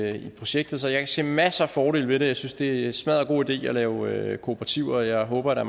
i projektet så jeg kan se masser af fordele ved det og jeg synes det er en smaddergod idé at lave kooperativer og jeg håber der